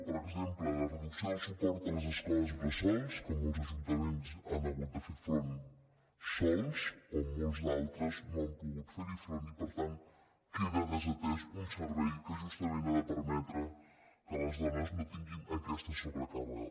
per exemple la reduc·ció del suport a les escoles bressol que molts ajunta·ments han hagut de fer·hi front sols o que molts altres no hi han pogut fer front i per tant queda desatès un servei que justament ha de permetre que les dones no tinguin aquesta sobrecàrrega